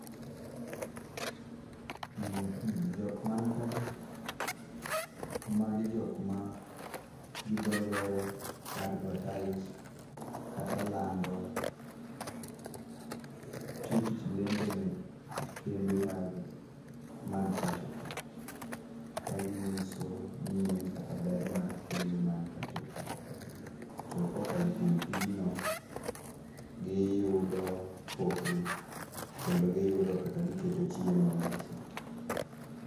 Jok man kagi, magi jok ma gi dho ngere advertise kata lando.,tiyo tich lendo ne kembe man pachoka, ka ginyiso nyien kata ber mar kembe man pachoka, to kokalo kuom tijno, giyudo pok gi kendo giyudo kaka giketo chiemo e mesa.